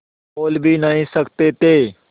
बोल भी नहीं सकते थे